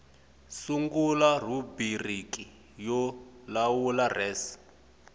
sungula rhubiriki yo lawula res